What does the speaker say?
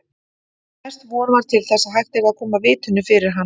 Mest von var til þess að hægt yrði að koma vitinu fyrir hann.